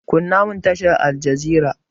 Kunna mun tashar aljazira!